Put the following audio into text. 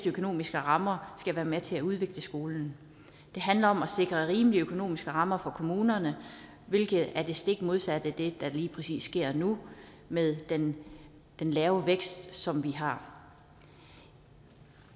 økonomiske rammer skal være med til at udvikle skolen det handler om at sikre rimelige økonomiske rammer for kommunerne hvilket er det stik modsatte af det der lige præcis sker nu med den lave vækst som vi har